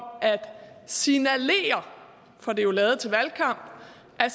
at signalere for det er jo lavet til valgkamp at